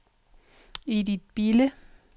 Edith Bille